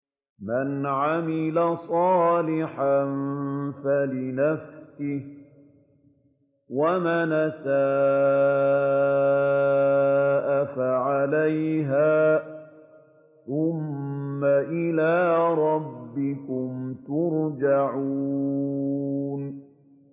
مَنْ عَمِلَ صَالِحًا فَلِنَفْسِهِ ۖ وَمَنْ أَسَاءَ فَعَلَيْهَا ۖ ثُمَّ إِلَىٰ رَبِّكُمْ تُرْجَعُونَ